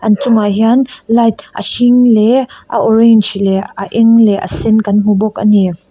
an chungah hian light a hring leh a orange leh a eng leh a sen kan hmu bawk a ni.